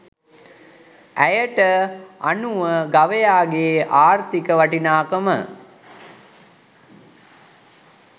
ඇයට අනුව ගවයාගේ ආර්ථික වටිනාකම